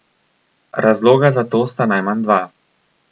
Razloga za to sta najmanj dva.